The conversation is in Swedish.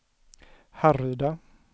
Härryda